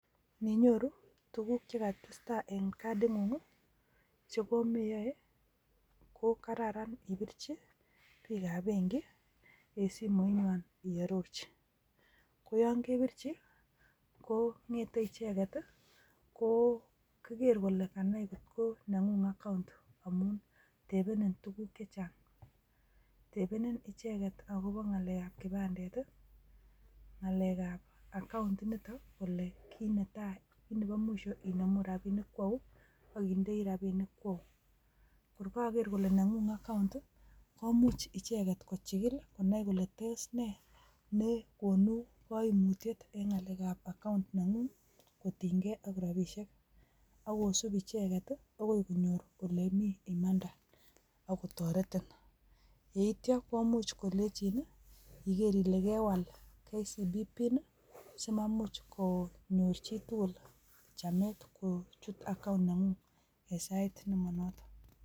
Ninyoru tukuk chekatesta en kading'ung chekomeyoe kokararan ibirchi biikab benki en simoinywan iororchi, koyon kebirchi kong'ete icheket kokere kole kanai ng'otkokanai kolee neng'ung account amuun tebenin tukuk chechang, tebenin icheket akoboo ng' alekab kipandet i, ngalekab account initon i, Kole kinetai neboo mwisho inemuu rabishek kwauu akindoi rabinik kwauu, kor koker kole neng'ung account komuch icheket kochikil konai kole toos nee nekonu koimutiet en ng'alekab account neng'ung kotinykee ak rabishek, akosib icheket okoi konyor elemii imanda akotoretin, yeityo komuch kolenchin ikeer ilee kewal KCB pin simamuch konyor chitukul chameet kochut account neng'ung en sait nemonoton.